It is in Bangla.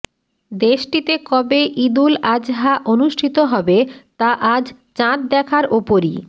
দেশটিতে কবে ঈদুল আজহা অনুষ্ঠিত হবে তা আজ চাঁদ দেখার ওপরই